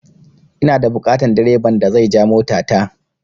Ina da buƙatan direban da zai ja mota ta